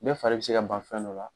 Bɛɛ fari bi se ka ban fɛn dɔ la.